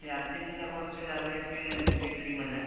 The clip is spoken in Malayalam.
പിന്നെ അര്‍ജന്‍റീന കുറച്ചു ഡബിള്‍ ഒക്കെ വീശിയടിക്കുമല്ലോ.